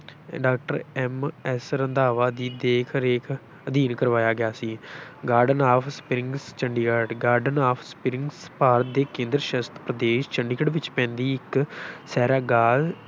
Doctor MS Randhawa ਦੀ ਦੇਖ ਰੇਖ ਅਧੀਨ ਕਰਵਾਇਆ ਗਿਆ ਸੀ garden of springs, Chandigarh garden of springs Bharat ਦੇ ਕੇਂਦਰ ਸ਼ਾਸਿਤ ਪ੍ਰਦੇਸ਼ ਚੰਡੀਗੜ੍ਹ ਵਿੱਚ ਪੈਂਦੀ ਇੱਕ ਸੈਰਗਾਹ